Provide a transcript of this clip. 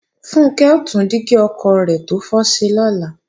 Funkẹ́ ó tún dígí ọkọ̀ rẹ̀ tó fọ́ ṣe lọ́la